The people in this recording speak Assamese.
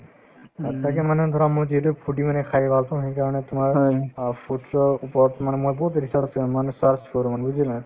অ, তাকে মানে ধৰা মই যিহেতু foodie মানে খাই ভাল পাওঁ সেইকাৰণে তোমাৰ অ foodie ৰ ওপৰত মানে মই বহুত research আছে মানে search কৰো মানে বুজিলা